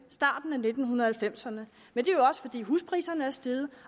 starten af nitten halvfemserne men det er jo også fordi huspriserne er steget